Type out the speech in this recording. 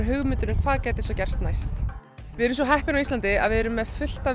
hugmyndir um hvað gæti gerst næst við erum svo heppin hér á Íslandi að við erum með fullt af